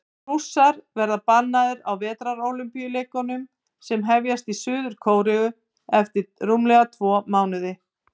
Rússar verða bannaðir á Vetrarólympíuleikunum sem hefjast í Suður-Kóreu eftir rúmlega tvo mánuði.